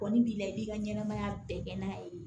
Kɔni b'i la i ka ɲɛnamaya bɛɛ kɛ n'a ye